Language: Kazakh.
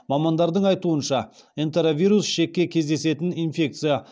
мамандардың айтуынша энтеровирус ішекте кездесетін инфекция